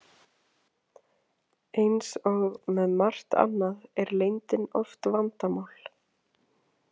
Eins og með margt annað er leyndin oft vandamál.